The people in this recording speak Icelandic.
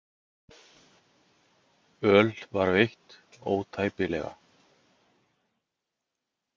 Öl var veitt ótæpilega.